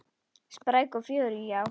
Spræk og fjörug, já.